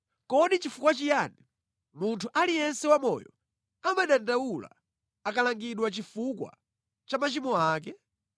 Kodi nʼchifukwa chiyani munthu aliyense wamoyo amadandaula akalangidwa chifukwa cha machimo ake?